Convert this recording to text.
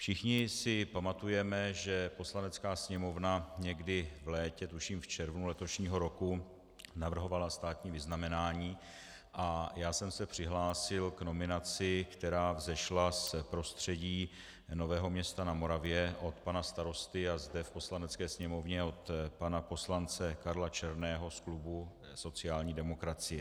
Všichni si pamatujeme, že Poslanecká sněmovna někdy v létě, tuším v červnu letošního roku, navrhovala státní vyznamenání, a já jsem se přihlásil k nominaci, která vzešla z prostředí Nového Města na Moravě od pana starosty a zde v Poslanecké sněmovně od pana poslance Karla Černého z klubu sociální demokracie.